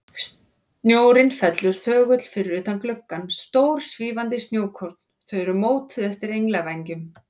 Snjórinn fellur þögull fyrir utan gluggana, stór, svífandi snjókorn, þau eru mótuð eftir englavængjum.